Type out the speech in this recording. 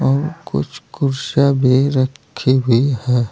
और कुछ कुर्सियां भी रखी हुई हैं।